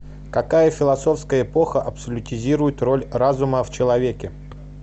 какая философская эпоха абсолютизирует роль разума в человеке